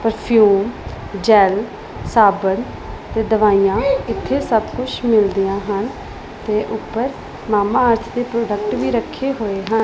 Perfume gel ਸਾਬਣ ਤੇ ਦਵਾਈਆਂ ਇੱਥੇ ਸਭ ਕੁਝ ਮਿਲਦੀਆਂ ਹਨ ਤੇ ਉੱਪਰ ਮਾਮਾ ਅਰਥ ਦੇ ਪ੍ਰੋਡਕਟ ਵੀ ਰੱਖੇ ਹੋਏ ਹਨ।